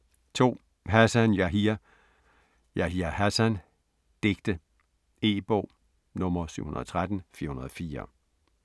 2. Hassan, Yahya: Yahya Hassan: digte E-bog 713404